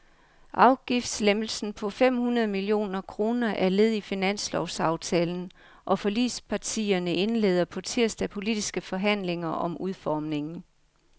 Afgiftslempelsen på fem hundrede millioner kroner er led i finanslovsaftalen, og forligspartierne indleder på tirsdag politiske forhandlinger om udformningen.